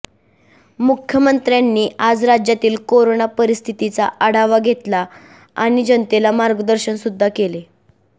मुख्यमंत्र्यांनी आज राज्यातील कोरोना परिस्थितीचा आढावा घेतला आणि जनतेला मार्गदर्शन सुद्धा केले